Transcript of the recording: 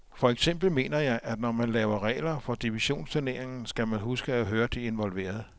For eksempel mener jeg, at når man lever regler for divisionsturneringen, skal man huske at høre de involverede.